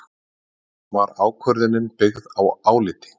Var ákvörðunin byggð á áliti